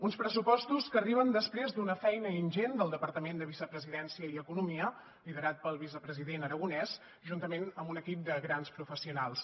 uns pressupostos que arriben després d’una feina ingent del departament de vicepresidència i economia liderat pel vicepresident aragonès juntament amb un equip de grans professionals